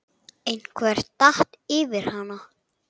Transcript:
Einhver datt yfir hana.